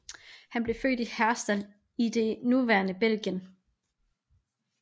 Han blev født i Herstal i det nuværende Belgien